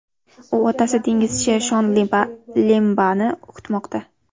U otasi dengizchi Shon Lembani kutmoqda.